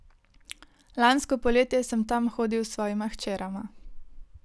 Lansko poletje sem tam hodil s svojima hčerama.